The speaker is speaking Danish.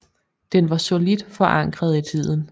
Den var solidt forankret i tiden